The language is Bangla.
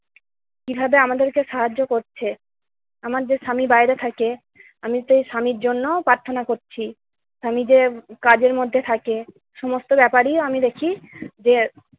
কিভাবে আমাদেরকে সাহায্য করছে। আমার যে স্বামী বাইরে থাকে আমি সেই স্বামীর জন্য প্রার্থনা করছি। স্বামী যে কাজের মধ্যে থাকে, সমস্ত ব্যাপারই আমি দেখি যে-